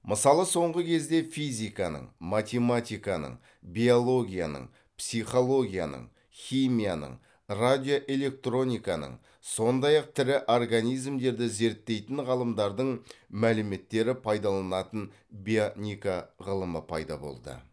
мысалы соңғы кезде физиканың математиканың биологияның психологияның химияның радиоэлектрониканың сондай ақ тірі организмдерді зерттейтін ғалымдардың мәліметтері пайдаланатын бионика ғылымы пайда болды